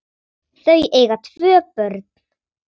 Þau eiga tvö börn.